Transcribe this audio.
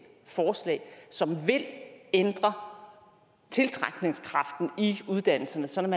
forslag som vil ændre tiltrækningskraften i uddannelserne sådan